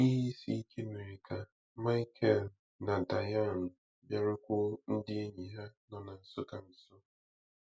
Ihe isi ike mere ka Michel na Diane bịarukwuo ndị enyi ha nọ na Nsukka nso.